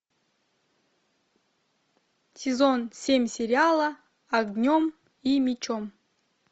сезон семь сериала огнем и мечом